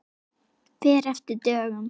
Fer eftir dögum.